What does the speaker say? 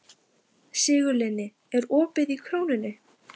Sigurlinni, er opið í Krónunni?